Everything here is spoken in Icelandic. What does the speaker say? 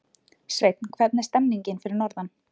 Sveinn, hvernig er stemningin fyrir norðan?